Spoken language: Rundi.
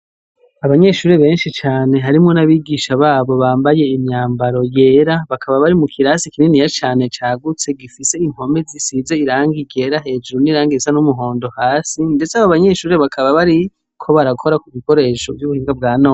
Abanyeshure benshi cane harimwo n' abigisha babo bambaye imyambaro yera, bakaba bari mu kirasi kininiya cane cagutse, gifise impome zisize irangi ryera hejuru n' irangi risa n' umuhondo hasi, ndetse abo banyeshure bakaba bariko barakora ku bikoresho vy' ubuhinga bwa none.